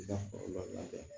I ka foro lada